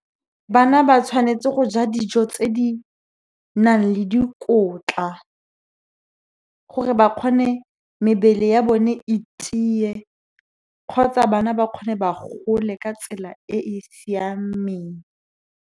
Bana ba tshwanetse go ja dijo tse di nang le dikotla, gore ba kgone mebele ya bone e tiye kgotsa bana ba kgone ba gole ka tsela e e siameng.